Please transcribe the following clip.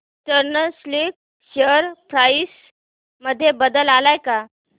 eastern Silk share price मध्ये बदल आलाय का